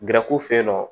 fe yen nɔ